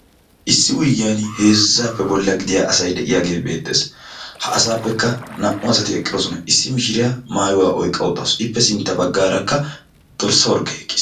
Issi wuygiyaan heezzappe bolla gidiya asay de'iyaagee beettees. Ha asappe naa"u asati eqqidoosona. Issi mishiriyaa maayyuwa oyqqaa uttaasu. Ippe sintta baggaarakka dorssa orgge eqqiis.